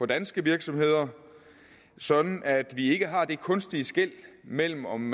danske virksomheder sådan at vi ikke har det kunstige skel imellem om